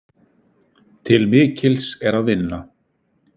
Til mikils er að vinna.